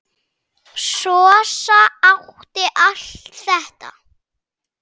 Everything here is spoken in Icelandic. Sossa átti allt þetta.